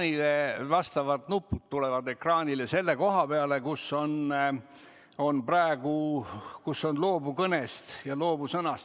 Teile tulevad ekraanile vastavad nupud selle koha peale, kus on praegu "Loobu kõnest" ja "Loobu sõnast".